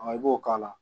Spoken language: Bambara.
i b'o k'a la